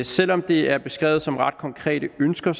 selv om det er beskrevet som konkrete ønsker